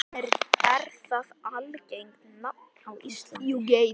Er það algengt nafn á Íslandi?